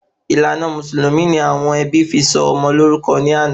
Ìlànà èsìn mùsùlùmí ni àwọn ẹbí fi sọ ọmọ lórúkọ in ana